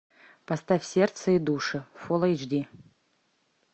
поставь сердце и души фулл эйч ди